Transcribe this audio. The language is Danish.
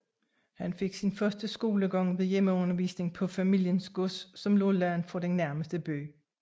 Han fik sin første skolegang ved hjemmeundervisning på familiens gods som lå langt fra den nærmeste by